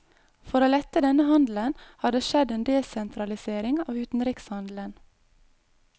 For å lette denne handelen har det skjedd en desentralisering av utenrikshandelen.